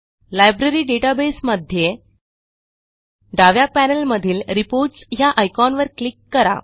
library database मध्ये डाव्या पॅनेलमधील रिपोर्ट्स ह्या आयकॉनवर क्लिक करा